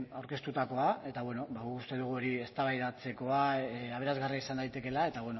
aurkeztutakoa eta guk uste dugu hori eztabaidatzekoa aberasgarria izan daitekeela eta